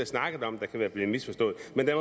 snakket om der kan være blevet misforstået men der